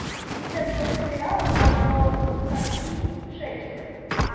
пятьдесят восемь реалов равно скольки шекелям